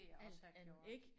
Alt andet ik